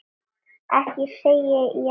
Ekki segi ég það.